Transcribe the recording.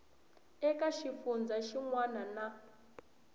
eka xifundzha xin wana na